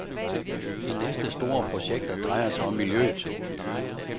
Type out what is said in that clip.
De næste store projekter drejer sig om miljøet.